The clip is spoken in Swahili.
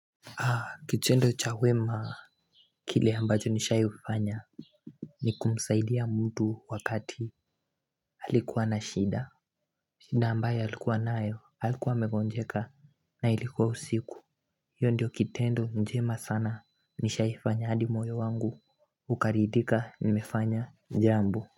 Kitendo chawema kile ambacho nishai fanya Nikumsaidia mtu wakati Halikuwa na shida shida ambayo alikuwa nayo alikuwa amegonjeka na ilikuwa usiku Yoo ndio kitendo njema sana nishai fanya adi moyo wangu Ukarithika nimefanya jambo.